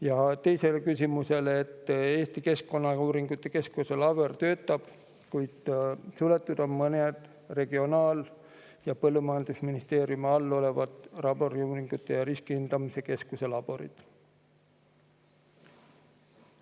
Ja teisele küsimusele vastas ta, et Eesti Keskkonnauuringute Keskuse labor töötab, kuid suletud on mõned Regionaal- ja Põllumajandusministeeriumi all olevad Laboriuuringute ja Riskihindamise Keskuse laborid.